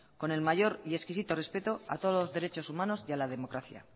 con el mayor y exquisito respeto a todos los derechos humanos y a la democracia